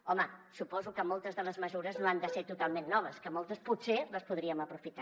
home suposo que moltes de les mesures no han de ser totalment noves que moltes potser les podríem aprofitar